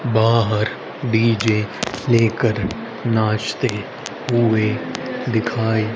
बाहर डी_जे लेकर नाचते हुए दिखाई--